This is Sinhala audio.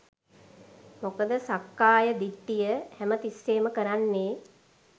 මොකද සක්කාය දිට්ඨිය හැම තිස්සේම කරන්නේ